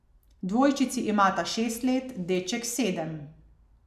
Dvojčici imata šest let, deček sedem.